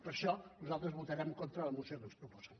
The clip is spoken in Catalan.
per això nosaltres votarem en contra de la moció que ens proposen